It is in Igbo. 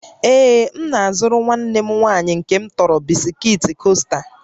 Ee, m na-azụrụ nwanne m nwanyị nke m tọrọ bisikiiti Coaster